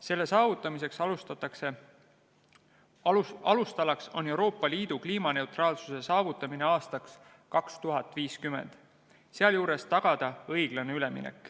Selle saavutamise alustalaks on Euroopa Liidu kliimaneutraalsuse saavutamine aastaks 2050, sealjuures õiglase ülemineku tagamine.